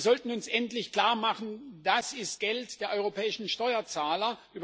Wir sollten uns endlich klarmachen Das ist Geld der europäischen Steuerzahler